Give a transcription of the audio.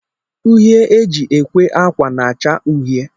Uhie e ji ekwe akwa na-acha uhie